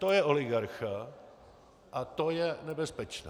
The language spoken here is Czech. To je oligarcha a to je nebezpečné.